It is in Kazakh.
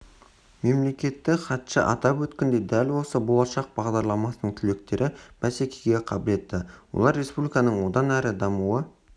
мемлекеттік хатшы атап өткендей дәл осы болашақ бағдарламасының түлектері бәсекеге қабілетті олар республиканың одан әрі дамуы